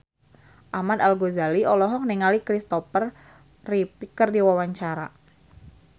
Ahmad Al-Ghazali olohok ningali Christopher Reeve keur diwawancara